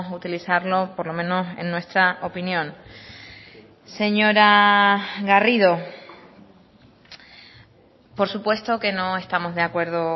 utilizarlo por lo menos en nuestra opinión señora garrido por supuesto que no estamos de acuerdo